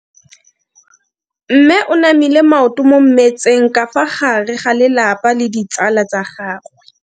Mme o namile maoto mo mmetseng ka fa gare ga lelapa le ditsala tsa gagwe.